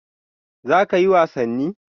Za kayi wasanni?